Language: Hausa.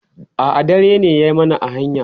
a'a dare ne ya mana a hanya